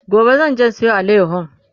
gobe zanje in Sayo alayahon